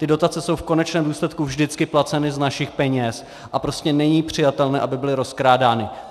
Ty dotace jsou v konečném důsledku vždycky placeny z našich peněz a prostě není přijatelné, aby byly rozkrádány.